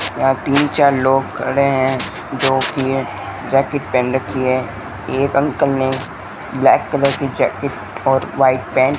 यहां तीन चार लोग खड़े हैं दो की है जाकेट पहन रखी है एक अंकल ने ब्लैक कलर की जैकेट और वाइट पैंट --